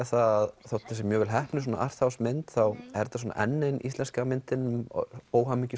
að þótt þetta sé mjög vel heppnuð arthouse mynd þá er þetta svona enn ein íslenska myndin um